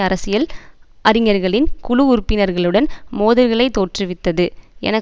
அரசியல் அறிஞர்களின் குழு உறுப்பினர்களுடன் மோதல்களை தோற்றுவித்தது என